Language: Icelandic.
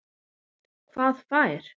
Hvað fær